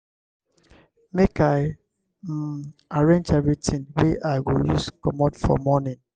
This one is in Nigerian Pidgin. make i um arrange everytin wey i go use comot for morning.